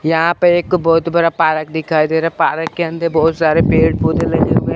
यहां पर एक बहुत बड़ा पार्क दिखाई दे रहा है पार्क के अंदर बहुत सारे पेड़ पोधै लगे हुए हैं।